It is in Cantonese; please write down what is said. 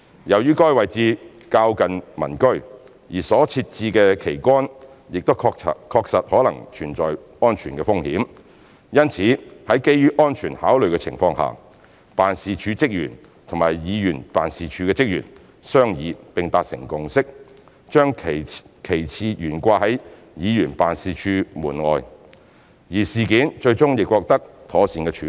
由於該位置較近民居，而所設置的旗桿亦確實可能存在安全風險，因此在基於安全考慮的情況下，辦事處職員與議員辦事處職員商議並達成共識，將旗幟懸掛在議員辦事處門外，而事件最終亦獲得妥善處理。